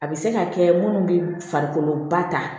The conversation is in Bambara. A bɛ se ka kɛ minnu bɛ farikolo ba ta